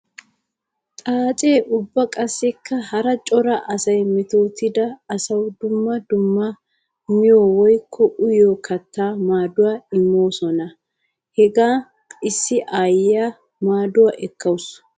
Xaace ubba qassikka hara cora asay mettotidda asawu dumma dumma miyo woykko uyiyo katta maaduwa immosonna. Hagan issi aayiya maaduwa ekkawussu.